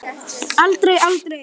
Aldrei, aldrei!